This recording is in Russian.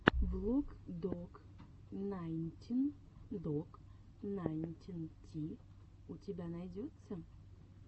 влог док найнтин док найнтин ти у тебя найдется